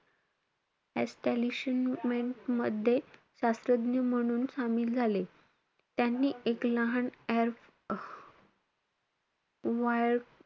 Establishment मध्ये शास्त्रज्ञ म्हणून शामिल झाले. त्यांनी एक लहान एफ वा,